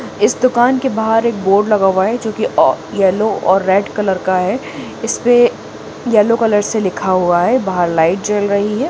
इस दुकान के बाहर एक बोर्ड लगा हुआ है जो की अ येलो और रेड कलर का है इसपे येलो कलर से लिखा हुआ है बाहर लाइट जल रही है।